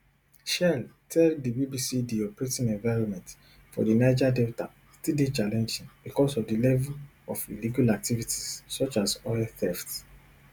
shell tell di bbc di operating environment for di niger delta still dey challenging becos of di level of illegal activities such as oil theft